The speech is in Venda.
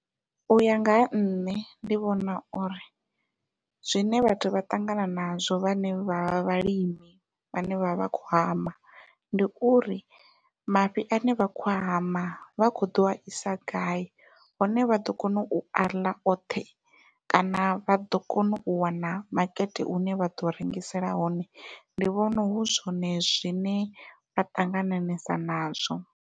Uya nga ha nṋe ndi vhona uri zwine vhathu vha ṱangana nazwo vhane vha vha vhalimi vhane vha vha vha kho hama, ndi uri mafhi ane vha khou hama vha kho ḓo a isa gai hone vha ḓo kona u aḽa oṱhe kana vha ḓo kona u wana makete une vha ḓo rengisela wone ndi vhona hu zwone zwine vha ṱangananesa nazwo.